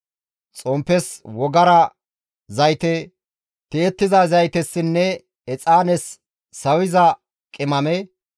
xomppes wogara zayte, tiyettiza zaytessinne exaanes sawissiza qimame,